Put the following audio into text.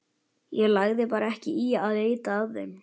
Hann lagði bara ekki í að leita að þeim.